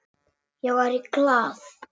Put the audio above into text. Ég var í Glað.